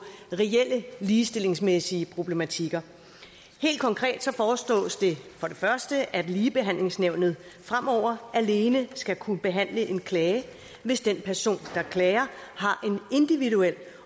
reelle ligestillingsmæssige problematikker helt konkret foreslås det for det første at ligebehandlingsnævnet fremover alene skal kunne behandle en klage hvis den person der klager har en individuel